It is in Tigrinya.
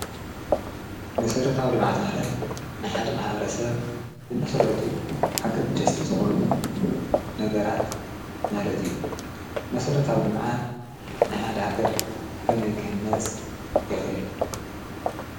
ንሠረታኣው ልማዓት ማለት ንሓደ መ ሓዋረ ሰብ ብመሥረቱ ኣገድ ደስቲ ዝኾኑ ነገራት ናለት እዩ መሠረታው ልምዓት ንሓድ ሃገር ከመይ ክህነጽ የኽእል።